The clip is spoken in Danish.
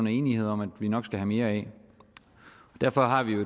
er enige om at vi nok skal have mere af derfor har vi jo i